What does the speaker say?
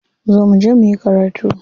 Zo muje muyi karatu.